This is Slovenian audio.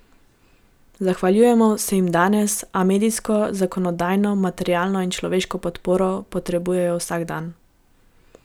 Zahvaljujemo se jim danes, a medijsko, zakonodajno, materialno in človeško podporo potrebujejo vsak dan.